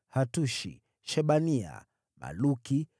Hatushi, Shebania, Maluki,